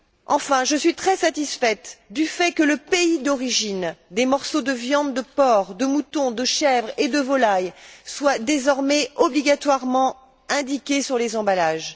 Enfin, je suis très satisfaite du fait que le pays d'origine des morceaux de viande de porc, de mouton, de chèvre et de volaille soit désormais obligatoirement indiqué sur les emballages.